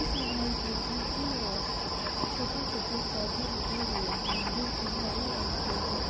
इस नहेर के दूसरी ओर छोटे-छोटे पौधे लगे हुए है जो की हरे रंग के है।